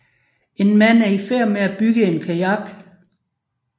En mand er i færd med at bygge en kajak